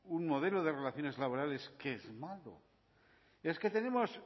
un modelo de relaciones laborales que es malo es que tenemos